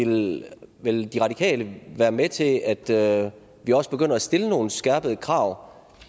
men vil de radikale være med til at til at vi også begynder at stille nogen skærpede krav